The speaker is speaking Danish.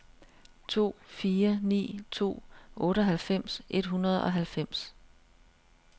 to fire ni to otteoghalvfems et hundrede og halvfems